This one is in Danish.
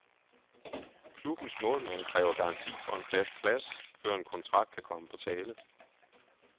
Klubbens målmand kræver garanti for en fast plads, før en kontrakt kan komme på tale.